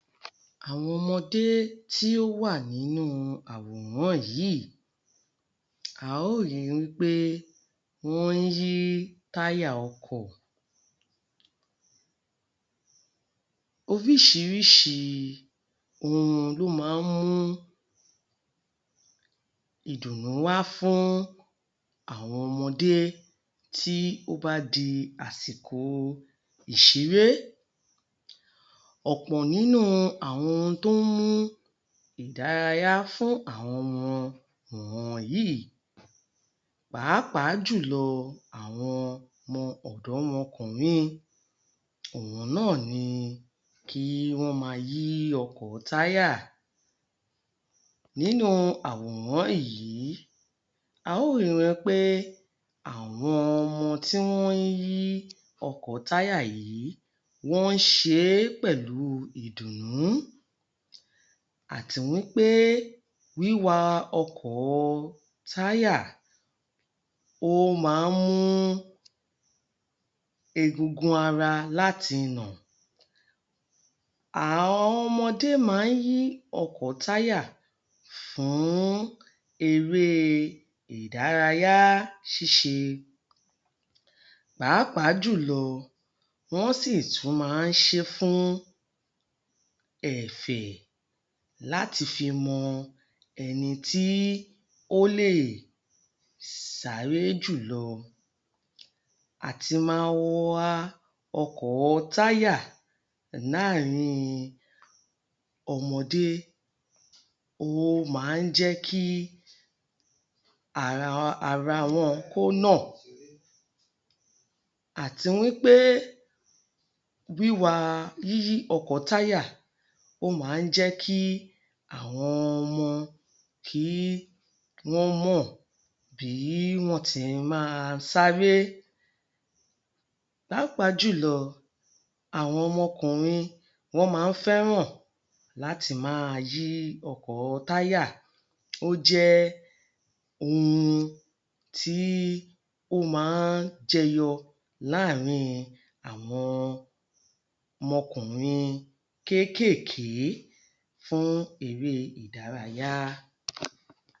Àwọn ọmọdé tí ó wà nínú àwòrán yìí, a ó rí i wí pé wọ́n ń yí táyà ọkọ̀. Oríṣiríṣi ohun ló máa mú ìdùnnú wá fún àwọn ọmọdé tí ó bá di àsìkò ìṣeré. Ọ̀pọ̀ nínú àwọn ohun tó mú ìdárayá fún àwọn ọmọ wọ̀nyìí. Pàápàá jùlọ àwọn ọmọ ọ̀dọ́mọkùnrin, àwọn náà ni kí wọ́n máa yí ọkọ̀ táyà. Nínú àwòrán yìí, a ó rí i wí pé, àwọn ọmọ tí wọ́n ń yí ọkọ̀ táyà yìí, wọ́n ń ṣe é pẹ̀lú ìdùnnú àti wí pé wíwa ọkọ̀ táyà, ó máa ń mú egungun ara láti nà. Àwọn ọmọdé máa ń yí ọkọ̀ táyà fún eré ìdárayá ṣíṣe. Pàápàá jùlọ wọ́n sì tún máa ń ṣe é fún ẹ̀fẹ̀ láti fi mọ ẹni tí ó lè sáré jùlọ. Àti má wa ọkọ̀ táyà láàrin ọmọdé, ó máa ń jẹ́ kí ara wọn kó nà. Àti wí pé wíwá yíyí ọkọ̀ táyà, ó máa ń jẹ́ kí àwọn ọmọ kí wọ́n mọ̀ bí wọ́n ti máa sáré. Pàápàá jùlọ, àwọn ọmọkùnrin, wọ́n máa ń fẹ́ràn láti máa yí ọkọ̀ táyà. Ó jẹ́ ohun tí ó máa ń jẹyọ láàrin àwọn ọmọkùnrin kéékèèké fún eré ìdárayá.